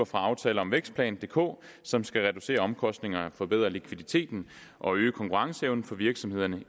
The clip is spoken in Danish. fra aftaler om vækstplan dk som skal reducere omkostningerne og forbedre likviditeten og øge konkurrenceevnen for virksomhederne